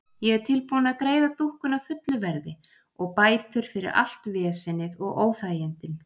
Ég er tilbúin að greiða dúkkuna fullu verði og bætur fyrir allt vesenið og óþægindin.